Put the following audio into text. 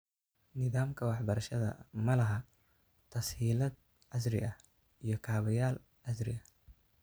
Nidaamka waxbarashada ma laha tas-hiilaad casri ah iyo kaabayaal casri ah.